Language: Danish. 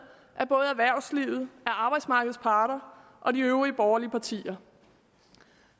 af både erhvervslivet arbejdsmarkedets parter og de øvrige borgerlige partier